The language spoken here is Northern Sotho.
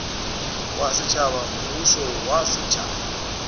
wa setšhaba mmušo wa setšhaba